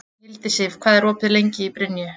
Hildisif, hvað er opið lengi í Brynju?